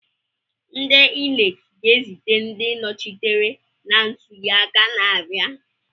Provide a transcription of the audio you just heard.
Ndị Inec ga-ezite ndị nnọchiteanya na ntuli aka na-abịa?